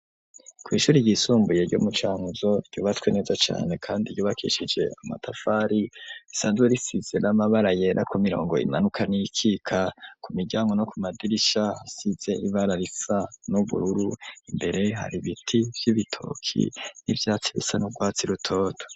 Kw'ishuri ryisumbuye ryo mu Cankuzo, ryubatswe neza cane kandi ryubakishije amatafari, risanzwe risize n'amabara yera ku mirongo imanuka n'iyikika, ku miryango no ku madirisha hasize ibara risa n'ubururu, imbere hari ibiti vy'ibitoki, n'ivyatsi bisa n'urwatsi rutoto.